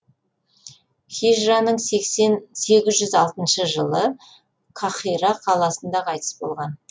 хижраның сегіз жүз алтыншы жылы қаһира қаласында қайтыс болған